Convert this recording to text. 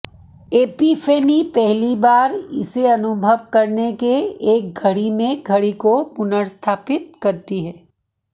epiphany पहली बार इसे अनुभव करने के एक घड़ी में घड़ी को पुनर्स्थापित करती है